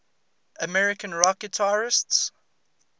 american rock guitarists